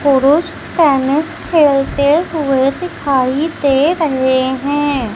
पुरुष पेनिस खेलते हुए दिखाई दे रहे हैं।